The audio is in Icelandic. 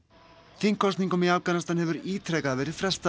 þingkosningum í Afganistan hefur ítrekað verið frestað